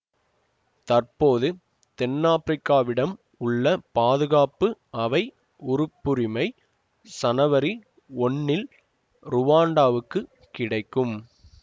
தற்போது தென்னாப்பிரிக்காவிடம் உள்ள பாதுகாப்பு அவை உறுப்புரிமை சனவரி ஒன்னில் ருவாண்டாவுக்குக் கிடைக்கும்